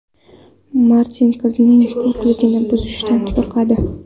Martin qizning pokligini buzishdan qo‘rqadi.